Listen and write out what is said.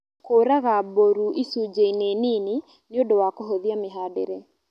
Kũraga mbũru icunjĩ -inĩ nini nĩũndũ wa kũhũthia mĩhandĩre